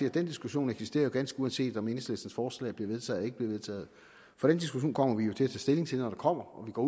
at den diskussion jo eksisterer ganske uanset om enhedslistens forslag bliver vedtaget eller ikke bliver vedtaget for den diskussion kommer vi til at tage stilling til når der kommer og det går